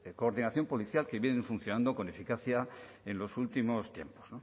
coordinación policial que vienen funcionando con eficacia en los últimos tiempos